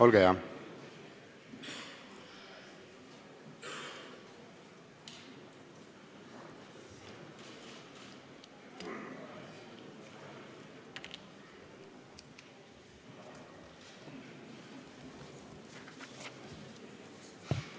Olge hea!